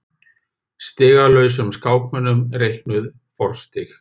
Stigalausum skákmönnum reiknuð forstig.